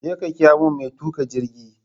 Jeka ƙira mun mai tuƙa jirgi!